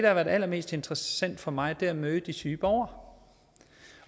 har været allermest interessant for mig er at møde de syge borgere